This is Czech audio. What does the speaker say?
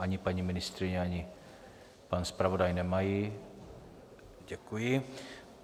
Ani paní ministryně, ani pan zpravodaj nemají, děkuji.